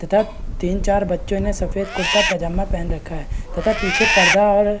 तथा तीन-चार बच्चों ने सफेद कुर्ता पजामा पेहन रखा है तथा पिछे पर्दा और --